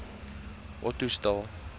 ottosdal